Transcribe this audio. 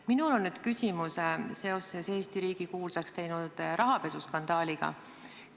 Minul on küsimus seoses Eesti riigi kuulsaks teinud rahapesuskandaaliga.